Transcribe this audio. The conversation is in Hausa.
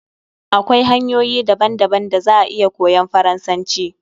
Akwai hanyoyi daban daban da za a iya koyan Faransanci